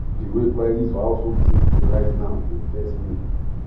the way prices for household things dey rise now dey vex me